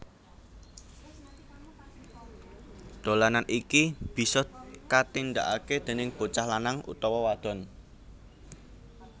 Dolanan iki bisa katindakake déning bocah lanang utawa wadon